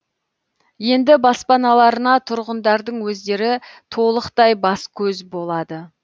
енді баспаналарына тұрғындардың өздері толықтай бас көз болады